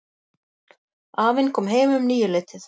Afinn kom heim um níuleytið.